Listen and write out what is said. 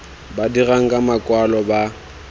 ba dirang ka makwalo ba